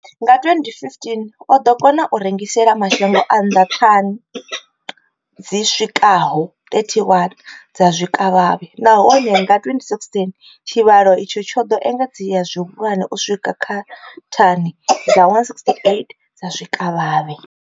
Nga 2015, o ḓo kona u rengisela mashango a nnḓa thani dzi swikaho 31 dza zwikavhavhe, nahone nga 2016 tshivhalo itshi tsho ḓo engedzea zwihulwane u swika kha thani dza 168 dza zwikavhavhe.